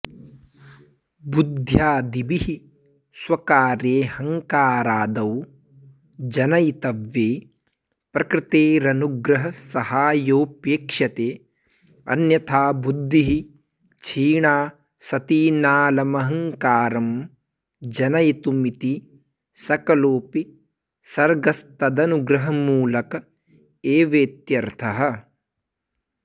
बुद्ध्यादिभिः स्वकार्येऽहङ्कारादौ जनयितव्ये प्रकृतेरनुग्रहसहायोपेक्ष्यते अन्यथा बुद्धिः क्षीणा सती नालमहङ्कारं जनयितुमिति सकलोपि सर्गस्तदनुग्रहमूलक एवेत्यर्थः